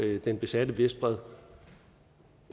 den besatte vestbred